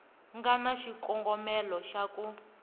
nga na xikongomelo xa ku